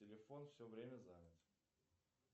телефон все время занят